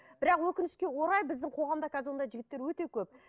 бірақ өкінішке орай біздің қоғамда қазір ондай жігіттер өте көп